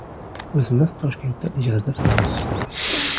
O‘zimiz Toshkentda ijarada turamiz.